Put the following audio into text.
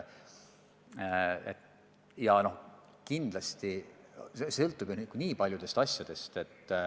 Kindlasti sõltub see paljudest asjadest.